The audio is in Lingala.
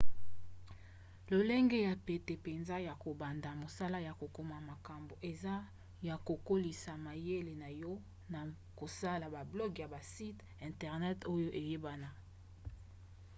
lolenge ya pete mpenza ya kobanda mosala ya kokoma makambo eza ya kokolisa mayele na yo na kosala bablog ya basite internet oyo eyebana